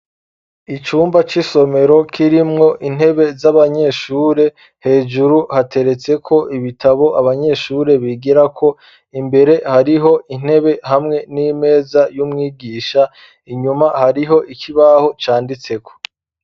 Icumba c'isomero kirimwo intebe z'abanyeshure hejuru hateretseko ibitabo abanyeshure bigira ko imbere hariho intebe hamwe n'imeza y'umwigisha inyuma hariho ikibaho canditseko.